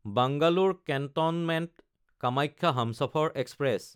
Bangalore কেণ্টনমেণ্ট–কামাখ্যা Humsafar express